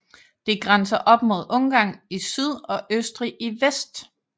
Det grænser op mod Ungarn i syd og Østrig i vest